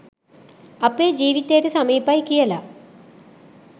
අපේ ජීවිතේට සමීපයි කියල